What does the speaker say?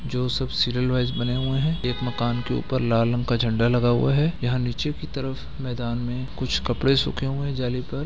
जो सब serial wise बने हुए हैं एक मकान के ऊपर लाल रंग का झंडा लगा हुआ है यहाँ नीचे की तरफ मैदान में कुछ कपड़े सूखे हुए हैं जाली पर।